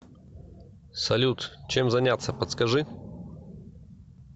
салют чем заняться подскажи